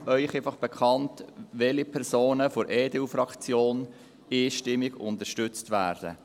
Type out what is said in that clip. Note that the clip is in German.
Ich gebe Ihnen bloss bekannt, welche Personen von der EDU-Fraktion einstimmig unterstützt werden: